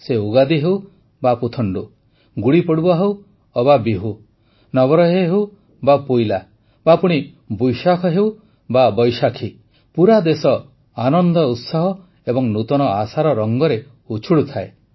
ସେ ଉଗାଦି ହେଉ ବା ପୁଥଣ୍ଡୁ ଗୁଡ଼ିପଡ଼ୱା ହେଉ ଅବା ବିହୁ ନବରହେ ହେଉ ବା ପୋଇଲା ବା ପୁଣି ବୋଇଶାଖ ହେଉ ବା ବୈଶାଖୀ ପୁରା ଦେଶ ଆନନ୍ଦ ଉତ୍ସାହ ଏବଂ ନୂତନ ଆଶାର ରଙ୍ଗରେ ଉଚ୍ଛୁଳୁଥାଏ